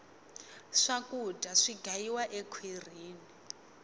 swakudya si gayiwa ekhwirini